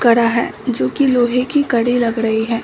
कड़ा है जो कि लोहे की कड़ी लग रही है।